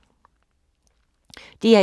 DR1